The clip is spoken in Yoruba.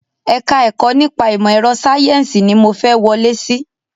Ẹ̀ka ẹ̀kọ́ nípa ìmọ̀ ẹ̀rọ sayẹ́nsi ni mo fẹ́ wọlé síí